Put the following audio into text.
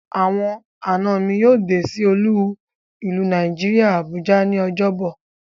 Awon ana mi yoo de si olu ilu Naijiria Abuja ni Ojobo